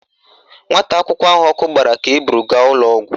Nwata akwụkwọ ahụ ọkụ gbara ka eburu gaa ụlọọgwụ